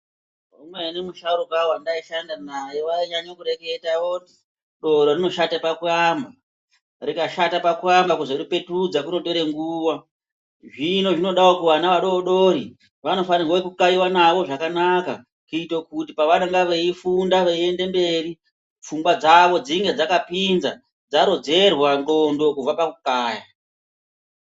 Umweni misharuka vandai shanda naye vainyanya kureketa voti doro rinoshate pakuamo. Rikashata pakuamba kuzoripetudza kunopera nguva, zvino zvinodavo kuvana adodori vanofanirwe kukaiva navo zvakanaka. kuite kuti pavanonga veifunda veiende mberi pfungwa dzavo dzinge dzakapinza dzarodzerwa ndxondo kubva pakukaya.